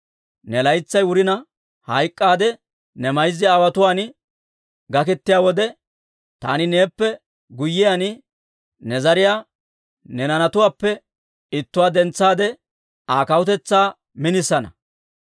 Ne laytsay wurina, hayk'k'aadda ne mayza aawotuwaan gaketiyaa wode, taani neeppe guyyiyaan ne zariyaa, ne naanatuwaappe ittuwaa dentsaade, Aa kawutetsaa minisana.